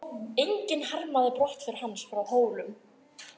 Enginn harmaði brottför hans frá Hólum.